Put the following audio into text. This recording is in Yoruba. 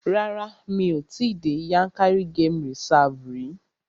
Rárá, mi ò tí dé Yankari game reserve rí.